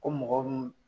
Ko mɔgɔ min